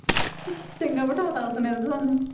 ਚੰਗਾ ਬਿਠਾ ਦਿੱਤਾ ਉਸਨੇ ਤਾਂ ਸਾਨੂੰ।